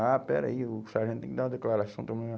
Ah, pera aí, o sargento tem que dar uma declaração. Todo mundo